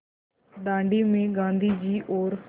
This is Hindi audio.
दाँडी में गाँधी जी और